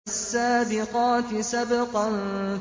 فَالسَّابِقَاتِ سَبْقًا